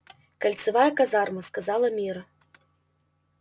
кольцевая казарма сказала мирра